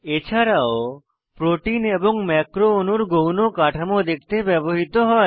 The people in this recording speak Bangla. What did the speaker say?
এছাড়াও প্রোটিন এবং ম্যাক্রো অণুর গৌণ কাঠামো দেখতে ব্যবহৃত হয়